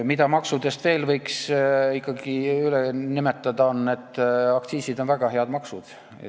Mida maksudest veel võiks ikkagi üle nimetada, on see, et aktsiisid on väga head maksud.